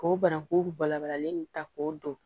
K'o bananku balabalalen ta k'o dɔn